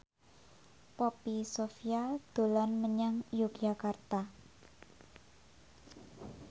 Poppy Sovia dolan menyang Yogyakarta